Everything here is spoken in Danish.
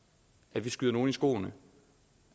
at vi skyder nogen i skoene